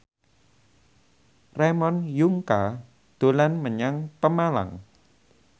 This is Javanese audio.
Ramon Yungka dolan menyang Pemalang